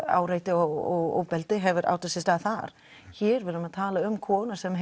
áreiti og ofbeldi hefur átt sér stað þar hér erum við að tala um konur sem